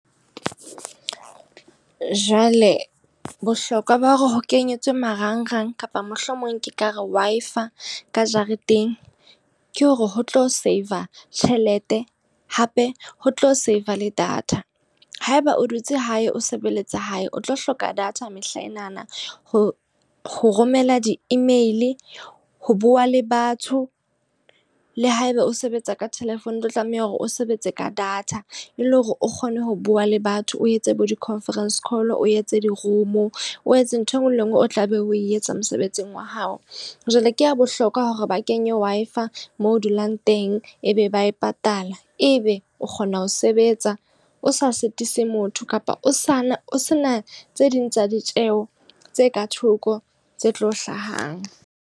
Jwale bohlokwa ba hore ho kenyetswe marangrang kapa mohlomong ke ka re Wi-Fi ka jareteng. Ke hore ho tlo save tjhelete hape ho tlo save le data. Haeba o dutse hae o sebeletse hae. O tlo hloka data mehlaenana ho romela di-email, ho bua le batho. Le haeba o sebetsa ka telephone o tlo tlameha hore o sebetse ka data. E le hore o kgone ho bua le batho o etse bo di-conference call, o etse di-room, o etse ntho e nngwe le e nngwe o tla be o etsa mosebetsing wa hao. Jwale ke ha bohlokwa hore ba kenye Wi-Fi moo o dulang teng ebe ba e patala. E be o kgona ho sebetsa o sa sitise motho kapa o sa na o se na tse ding tsa ditjeho tse ka thoko tse tlo hlahang.